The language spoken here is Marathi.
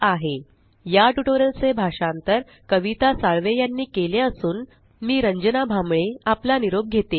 spoken tutorialorgnmeict इंट्रो या टयूटोरियल चे भाषांतर आवाज कविता साळवे यानी केले असून आवाज रंजना भांबळे यांचा आहे